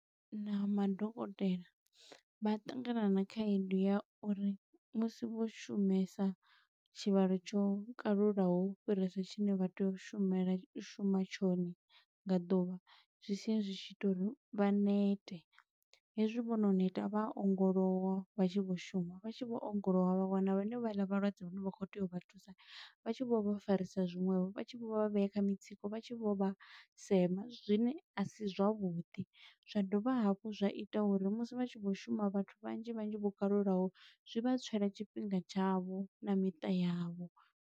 Na madokotela vha ṱangana na khaedu ya uri musi vho shumesa tshivhalo tsho kalulaho u fhirisa tshine vha tea u shumela, u shuma tshone nga ḓuvha. Zwi sia zwi tshi ita uri vha nete, hezwi vho no neta vha ongolowa vha tshi vho shuma, vha tshi vho ongolowa vha wana vhe ne vha ḽa vhalwadze vhane vha khou tea u vha thusa, vha tshi vho vha farisiwa zwiṅwevho. Vha tshi vho vhea kha mitsiko, vha tshi vho vha sema, zwine a si zwavhuḓi. Zwa dovha hafhu zwa ita uri musi vha tshi vho shuma vhathu vhanzhi vhanzhi vho kalulaho, zwi vha tswela tshifhinga tshavho, na miṱa yavho.